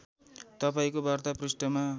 तपाईँको वार्ता पृष्ठमा